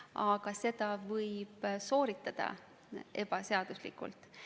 Aga seda võib sooritada ebaseaduslikult.